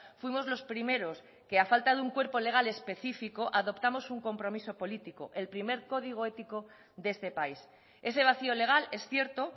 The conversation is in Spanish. fuimos los primeros que a falta de un cuerpo legal específico adoptamos un compromiso político el primer código ético de este país ese vacío legal es cierto